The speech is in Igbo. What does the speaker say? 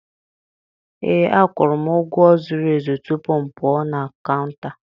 Ee, akwụrụ m ụgwọ zuru ezu tupu m pụọ na kaụnta.